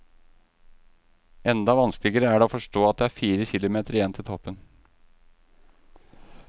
Enda vanskeligere er det å forstå at det er fire kilometer igjen til toppen.